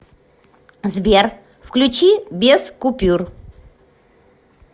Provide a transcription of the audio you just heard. сбер включи без купюр